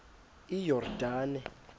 iyordane